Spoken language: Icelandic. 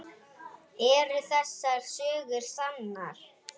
Eru þessar sögur sannar?